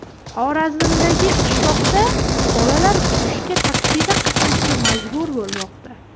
Xorazmdagi qishloqda bolalar o‘qishga taksida qatnashga majbur bo‘lmoqda.